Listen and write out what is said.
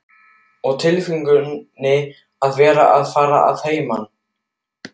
Og tilfinningin að vera að fara að heiman.